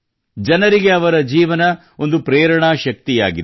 ಜನರಿಗೆ ಅವರ ಜೀವನ ಒಂದು ಪ್ರೇರಣಾ ಶಕ್ತಿಯಾಗಿದೆ